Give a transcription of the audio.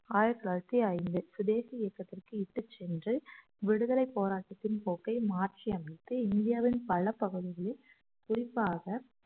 ஆயிரத்தி தொள்ளாயிரத்தி ஐந்தில் சுதேசி இயக்கத்திற்கு இட்டுச்சென்று விடுதலைப் போராட்டத்தின் போக்கை மாற்றி அமைத்து இந்தியாவின் பல பகுதிகளில் குறிப்பாக